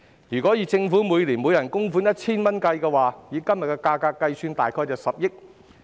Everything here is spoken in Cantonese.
如果政府每年為每人供款 1,000 元，以今天的價格計算，大約涉及10億元。